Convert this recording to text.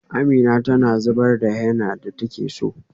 Amina tana zabar henna da take so.